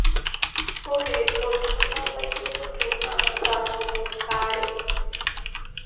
ore oltuala lainyototo naa saa tomon aare